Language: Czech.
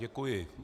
Děkuji.